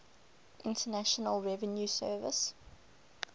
internal revenue service